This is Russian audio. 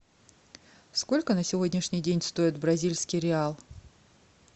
сколько на сегодняшний день стоит бразильский реал